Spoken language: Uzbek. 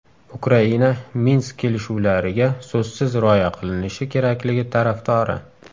Ukraina Minsk kelishuvlariga so‘zsiz rioya qilinishi kerakligi tarafdori.